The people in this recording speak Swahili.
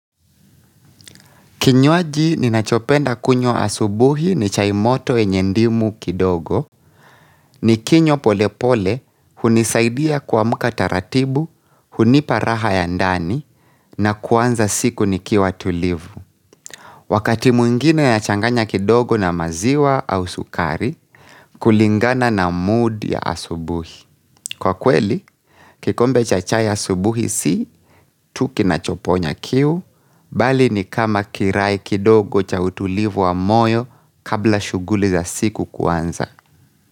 Kinywaji ninachopenda kunywa asubuhi ni chai moto yenye ndimu kidogo, ni kinywa pole pole hunisaidia kuamka taratibu, hunipa raha ya ndani, na kuanza siku nikiwa tulivu. Wakati mwingine yachanganya kidogo na maziwa au sukari, kulingana na mood ya asubuhi. Kwa kweli, kikombe cha chai asubuhi si tu kinachoponya kiu, mbali ni kama kirai kidogo cha utulivu wa moyo kabla shughuli za siku kuanza.